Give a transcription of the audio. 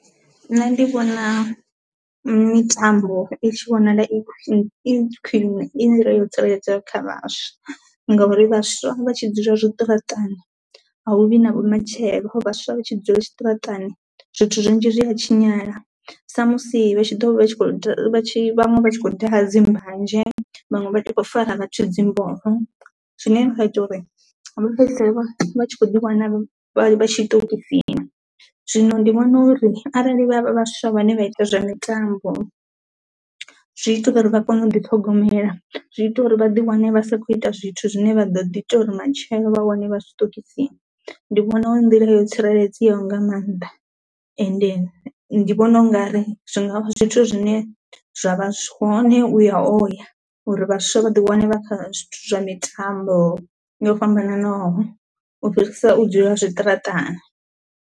Nṋe ndi vhona mitambo i tshi vhonala i i khwinwe i nḓila yo tsireledzea kha vhaswa ngauri vhaswa vha tshi dzula zwiṱaraṱani a hu vhi na vhumatshelo vhaswa vha tshi dzula tshiṱaratani zwithu zwinzhi zwi ha tshinyala sa musi vha tshi ḓo vha tshi khou da vha tshi vhaṅwe vha tshi khou daha dzi mbanzhe vhaṅwe vha ti khou fara vhathu dzimboho zwine zwa ita uri vha fhedzisela vha tshi kho ḓi wana vha tshiṱokisini, zwino ndi vhona uri arali vha vhaswa vhane vha ite zwa mitambo zwi ita uri vha kone u ḓi ṱhogomela, zwi ita uri vhaḓi wane vha sa kho ita zwithu zwine vha ḓo ḓi ite uri matshelo vha wane vha zwiṱokisini, ndi vhona hu nḓila yo tsireledzeaho nga maanḓa ende ndi vhona ungari zwinga vha zwithu zwine zwa vha zwa vha zwone uya ho ya uri vhaswa vha ḓi wane vha kha zwithu zwa mitambo yo fhambananaho u fhirisa u dzula zwiṱaraṱani.